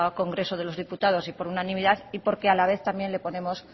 congreso de los diputados y por unanimidad y porque a la vez también le ponemos